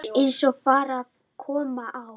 Eins og fram kom á